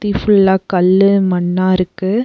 சுத்தி ஃபுல்லா கல்லு மண்ணா இருக்கு.